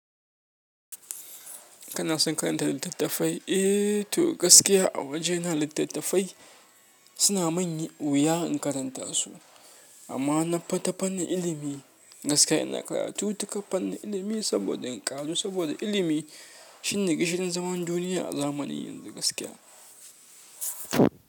Kana son karanta littattafai? Eh to gaskiya a waje na littattafai suna manyi wuya in karanta su amma na fita fannin ilimi gaskiya ina karatu ta ka fannin ilimi saboda in ƙaru saboda ilimi shi ne ke shirin zaman duniya a zamanin yanzu gaskiya.